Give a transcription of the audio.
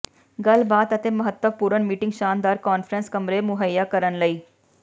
ਗੱਲਬਾਤ ਅਤੇ ਮਹੱਤਵਪੂਰਨ ਮੀਟਿੰਗ ਸ਼ਾਨਦਾਰ ਕਾਨਫਰੰਸ ਕਮਰੇ ਮੁਹੱਈਆ ਕਰਨ ਲਈ